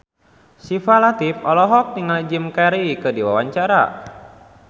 Syifa Latief olohok ningali Jim Carey keur diwawancara